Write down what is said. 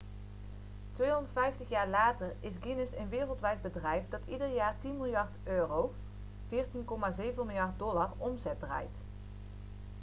250 jaar later is guinness een wereldwijd bedrijf dat ieder jaar 10 miljard euro us$ 14,7 miljard omzet draait